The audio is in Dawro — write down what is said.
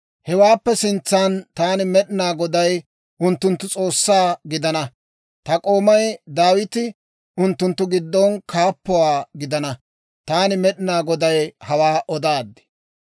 Hewaappe sintsan taani Med'inaa Goday unttunttu S'oossaa gidana; ta k'oomay Daawite unttunttu giddon kaappuwaa gidana. Taani Med'inaa Goday hawaa odaad.